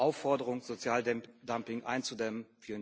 Aufforderung, Sozialdumping einzudämmen.